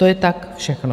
To je tak všechno.